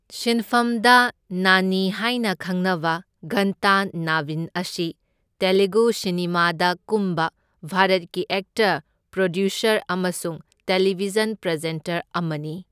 ꯁꯤꯟꯐꯝꯗ ꯅꯥꯅꯤ ꯍꯥꯢꯅ ꯈꯪꯅꯕ ꯘꯟꯇ ꯅꯕꯤꯟ ꯑꯁꯤ ꯇꯦꯂꯨꯒꯨ ꯁꯤꯅꯦꯃꯥꯗ ꯀꯨꯝꯕ ꯚꯥꯔꯠꯀꯤ ꯑꯦꯛꯇꯔ, ꯄ꯭ꯔꯣꯗ꯭ꯌꯨꯁꯔ ꯑꯃꯁꯨꯡ ꯇꯦꯂꯤꯚꯤꯖꯟ ꯄ꯭ꯔꯖꯦꯟꯇꯔ ꯑꯃꯅꯤ꯫